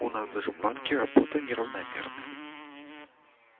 у нас же в банке работа неравномерная